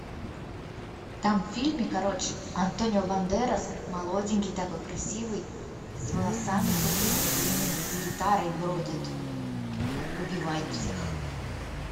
там в фильме короче антонио бандерас молоденький такой красивый с волосами такими длинными с гитарой бродит убивает всех